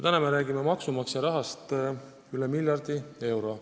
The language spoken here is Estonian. Täna me räägime aga maksumaksja rahast üle miljardi euro.